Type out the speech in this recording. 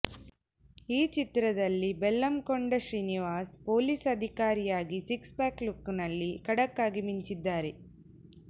ಈ ಚಿತ್ರದಲ್ಲಿ Bellamkonda Srinivas police ಅಧಿಕಾರಿಯಾಗಿ ಸಿಕ್ಸ್ ಪ್ಯಾಕ್ ಲುಕ್ ನಲ್ಲಿ ಖಡಕ್ ಆಗಿ ಮಿಂಚಿದ್ದಾರೆ